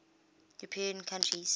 european countries